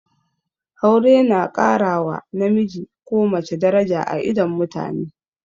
Aure na ƙara wa namiji ko mace daraja a idon mutane